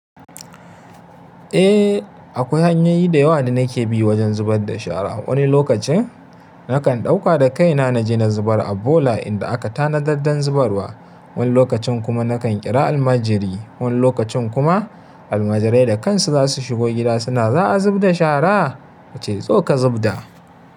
Eh! Akwai hanyoyi da yawa da nike bi wajen zubar da shara wani lokacin nakan dauka da kaina naje na zubar a bola inda a ka tanadar dan zubarwa. Wani lokacin kuma na kan kira almajiri. Wani lokacin kuma almajirai da kansu za su shigo gida suna “za a zub da shara?” ka ce “zo ka zub da”.